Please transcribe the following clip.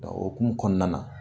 Dɔnku o hukun kɔnɔna na.